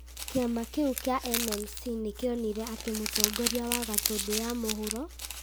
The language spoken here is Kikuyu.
kĩama kĩu kĩa NMC nĩ kĩonire atĩ mũtongoria wa Gatundu ya mũhuro ,